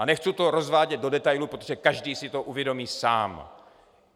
A nechci to rozvádět do detailu, protože každý si to uvědomí sám.